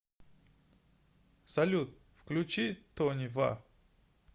салют включи тони ва